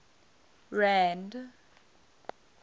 rand